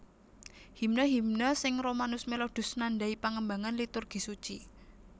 Himne himne sing Romanus Melodus nandai pangembangan Liturgi Suci